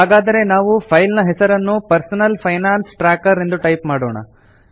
ಹಾಗಾದರೆ ನಾವು ಫೈಲ್ ನ ಹೆಸರನ್ನು ಪರ್ಸನಲ್ ಫೈನಾನ್ಸ್ ಟ್ರ್ಯಾಕರ್ ಎಂದು ಟೈಪ್ ಮಾಡೋಣ